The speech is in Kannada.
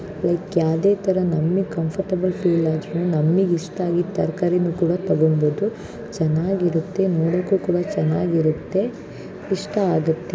ಲೈಕ್ ಯಾವದೇ ತರ ನಮ್ಮಿಗ್ ಕಂಫರ್ಟೇಬಲ್ ಫೀಲ್ ಆದ್ರೂ ನಮ್ಮಿಗ್ ಇಷ್ಟ ಆಗಿದ್ ತರ್ಕಾರಿನು ಕೂಡ ತಗೊಂಡ್ಬೋದು ಚನಾಗಿರುತ್ತೆ ನೋಡೋಕು ಕೂಡ ಚನಾಗಿರುತ್ತೆ ಇಷ್ಟ ಆಗತ್ತೆ.